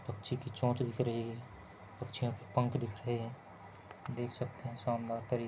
पंछी की चोंच दिख रही है पंछियों की पंख दिख रही है देख सकते है शानदार तरीके--